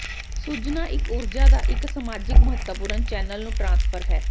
ਸੁੱਜੁਣਾ ਇੱਕ ਊਰਜਾ ਦਾ ਇੱਕ ਸਮਾਜਿਕ ਮਹੱਤਵਪੂਰਣ ਚੈਨਲ ਨੂੰ ਟ੍ਰਾਂਸਫਰ ਹੈ